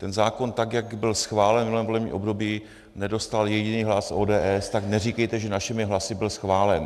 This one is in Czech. Ten zákon, tak jak byl schválen v minulém volebním období, nedostal jediný hlas ODS, tak neříkejte, že našimi hlasy byl schválen.